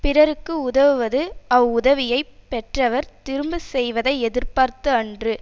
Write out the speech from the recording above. பிறர்க்கு உதவுவது அவ்வுதவியைப் பெற்றவர் திரும்ப செய்வதை எதிர்பார்த்து அன்று